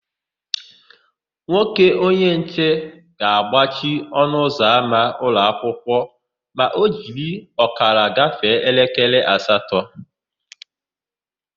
Nwoke onyenche ga-agbachi ọnụụzọama ụlọakwụkwọ ma o jiri ọkara gafee elekere asatọ.